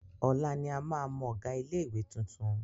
Ọ̀la ni a máa mọ ọ̀gá ilé-ìwé tuntun.